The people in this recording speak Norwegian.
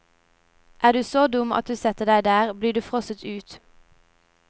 Er du så dum at du setter deg der, blir du frosset ut.